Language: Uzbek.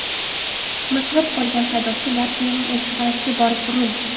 Mizg‘ib qolgan haydovchi Latviyaning elchixonasiga borib urildi.